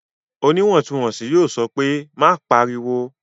Oníwọ̀ntúnwọ̀nsì yóò sọ pé "má pariwo!"